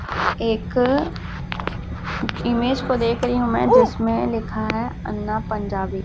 एक इमेज को देख रही हूं मैं जिसमें लिखा है अन्ना पंजाबी--